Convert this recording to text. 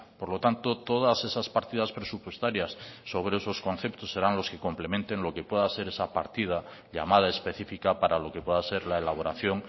por lo tanto todas esas partidas presupuestarias sobre esos conceptos serán los que complementen lo que pueda ser esa partida llamada específica para lo que pueda ser la elaboración